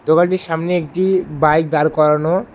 দোকানটির সামনে একটি বাইক দাঁড় করানো।